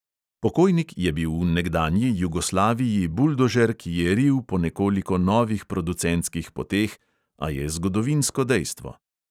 Pokojnik je bil v nekdanji jugoslaviji buldožer, ki je ril po nekoliko novih producentskih poteh, a je zgodovinsko dejstvo.